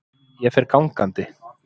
Ég fer gangandi.